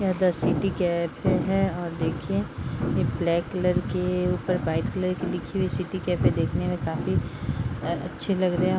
ये the City Cafe है और देखिये ये ब्लैक कलर की ऊपर वाइट कलर की लिखी हुइ सिटी कैफ़े देखने में काफी अच्छी लग रही है |